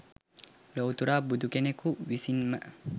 ලොව්තුරා බුදු කෙනකුන් විසින්ම